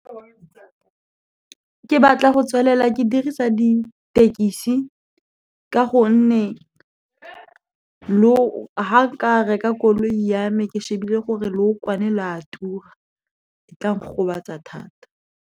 Ke batla go tswelela ke dirisa dithekisi ka gonne ha nka reka koloi ya me, ke shebile gore leokwane le a tura e tla ngobatsa thata.